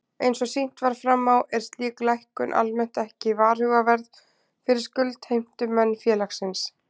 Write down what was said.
Eins og sýnt var fram á er slík lækkun almennt ekki varhugaverð fyrir skuldheimtumenn félagsins.